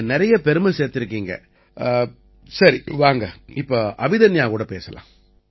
நீங்க நிறைய பெருமை சேர்த்திருக்கீங்க சரி வாங்க இப்ப அபிதன்யா கூட பேசலாம்